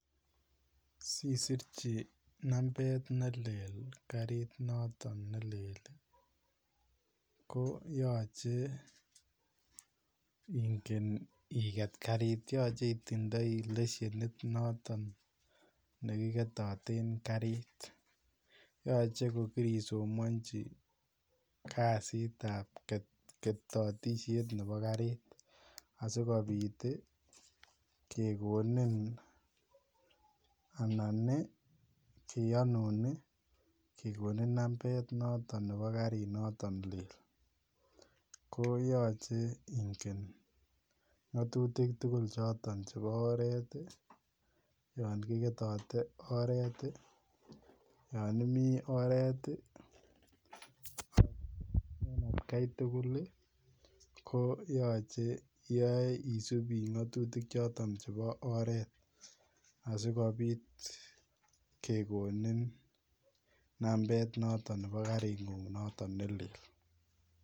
Sisirchi nambet nelel karit noton nelel koyache Ingen iget karit yache itindoi leshenit noton nekiketaten karit yache kokirisomanchi kasit ab ketatishet Nebo karit asikobit kekonin anan keyanun kekonin nambet noton Nebo karit noton lel koyache Ingen ngatutik tugul noton Nebo oret yangigetote en oret yanimii oret ak atkai tugul koyache isip ngatutik choton chebo oret asikobit kekonin nambet notet Nebo karinngun noton nelel